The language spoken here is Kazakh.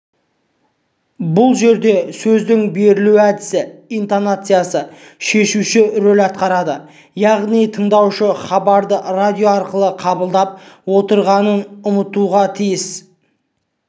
бұл жерде сөздің берілу әдісі интонациясы шешуші роль атқарады яғни тыңдаушы хабарды радио арқылы қабылдап отырғанын ұмытуға тиіс